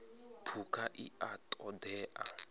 phukha i a ṱo ḓea